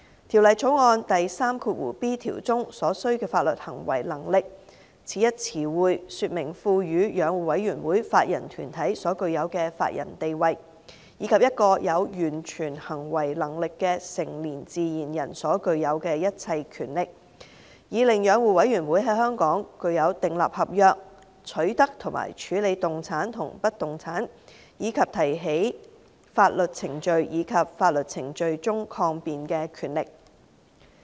《條例草案》第 3b 條中"所需的法律行為能力"此一詞彙，說明賦予養護委員會法人團體所具有的法人地位，以及一個有完全行為能力的成年自然人所具有的一切權力，以令養護委員會在香港具有訂立合約、取得和處置動產及不動產，以及提起法律程序及在法律程序中抗辯的權力。